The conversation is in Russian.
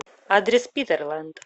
адрес питерлэнд